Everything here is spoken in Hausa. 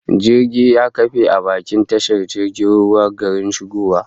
Jirgin ya kafe a bakin tashar jirgin ruwan garin shigowa